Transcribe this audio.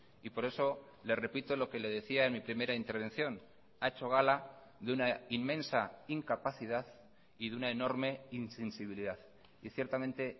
y por eso le repito lo que le decía en mi primera intervención ha hecho gala de una inmensa incapacidad y de una enorme insensibilidad y ciertamente